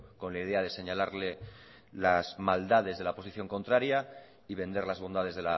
con la idea de señalarle las maldades de la posición contraria y vender las bondades